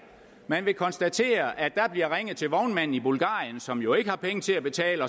man vil konstatere at der bliver ringet til vognmanden i bulgarien som jo ikke har penge til at betale